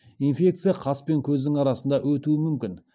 инфекция қас пен көздің арасында өтуі мүмкін